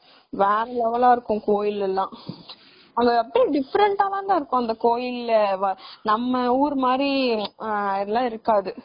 வேற level ஆ இருக்கும் கோவில் எல்லாம் அங்க எப்படியும் different ஆ தாண்டா இருக்கும் அங்க கோவில்ல நம்ம ஊரு மாதிரி அதெல்லாம் இருக்காது